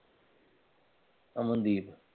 Amandeep